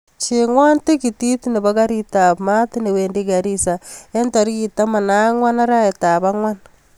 Chengwon tikitit nepo karit ap maat newendi garissa en tarikit taman ak angwan araet ap angwan